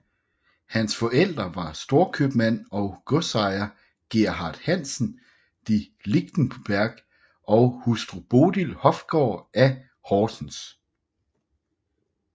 Hans forældre var storkøbmand og godsejer Gerhard Hansen de Lichtenberg og hustru Bodil Hofgaard i Horsens